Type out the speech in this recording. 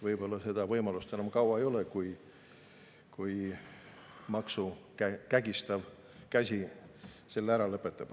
Võib-olla seda võimalust enam kaua ei ole, kui maksu kägistav käsi selle ära lõpetab.